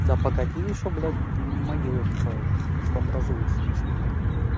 да погоди ещё блять могилы строить все образуется ты что ебать